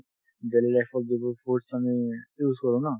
daily life ত যিবোৰ foods আমি use কৰো ন